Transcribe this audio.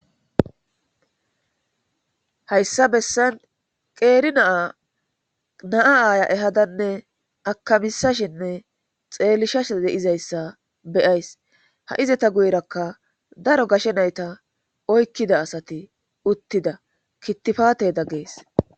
Hayssa bessan qeeri naa naa aaya ehadanne akamisashinne xeelishashe deizayssa beyays ha7izeta guyerakka daro gashe nayta oykkida asati uttida kittifaateda gees